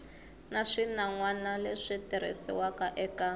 na swinawana leswi tirhisiwaka eka